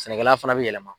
Sɛnɛkɛla fana bɛ yɛlɛma